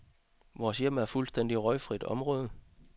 Vores hjem er fuldstændig røgfrit område.